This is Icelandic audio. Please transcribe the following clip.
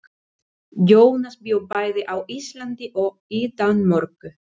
Jónas bjó bæði á Íslandi og í Danmörku.